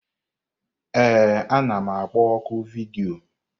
Ee, anam akpọ ọ́kụ vidiyo.